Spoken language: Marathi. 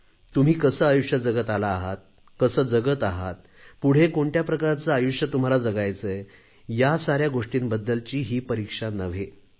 तुम्ही कसे आयुष्य जगत आला आहेत कसे जगत आहात पुढे कोणत्या प्रकारचे आयुष्य तुम्हाला जगायचे आहे या साऱ्या गोष्टींबद्दलची ही परीक्षा नव्हे